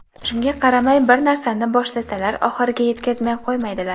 Shunga qaramay, bir narsani boshlasalar oxiriga yetkazmay qo‘ymaydilar.